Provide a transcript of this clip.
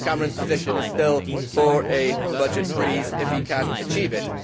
Mr Cameron's position is still for a budget freeze if he can achieve it.